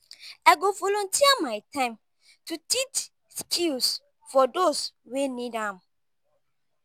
i go volunteer my time to teach skills for those wey need am.